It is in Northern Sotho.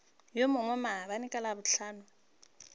yo mongwe maabane ka labohlano